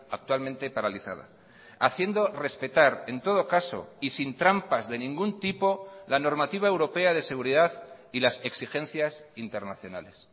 actualmente paralizada haciendo respetar en todo caso y sin trampas de ningún tipo la normativa europea de seguridad y las exigencias internacionales